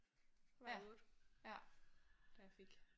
Var jeg 8 da jeg fik